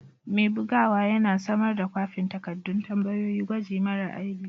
Mai bugawa yana samar da kwafin takaddun tambayoyin gwaji mara aibi.